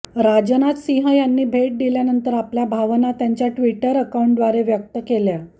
राजनाथ सिंह यांनी भेट दिल्यानंतर आपल्या भावना त्यांच्या ट्विटर अकाउंटद्वारे व्यक्त केल्या